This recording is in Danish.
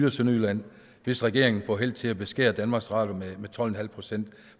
og sønderjylland hvis regeringen får held til at beskære danmarks radio med tolv en halv procent